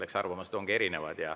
Aga eks arvamused ongi erinevad.